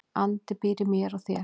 Andi býr í mér og þér.